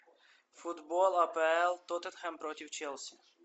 футбол апл тоттенхэм против челси